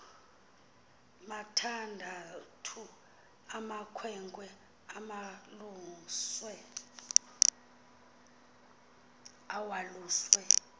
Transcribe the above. mathandathu amakhwenkne awaluswe